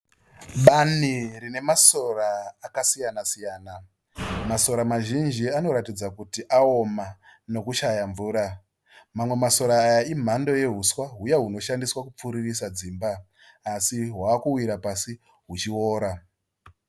Bani rine masora akasiyana-siyana. Masora mazhinji anoratidza kuti aoma nekushaya mvura. Amwe masora aya imhamdo yehuswa huya hunoshandiswa kupfiririsa dzimba asi hwava kuwira pasi huchiora.